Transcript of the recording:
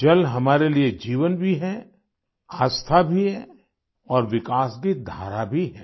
जल हमारे लिये जीवन भी है आस्था भी है और विकास की धारा भी है